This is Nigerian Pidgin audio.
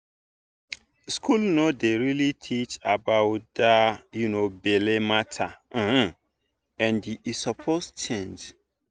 school no dey really teach about that um belle matter um and e suppose change.